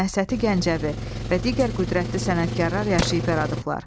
Məhsəti Gəncəvi və digər qüdrətli sənətkarlar yaşayıb yaradıblar.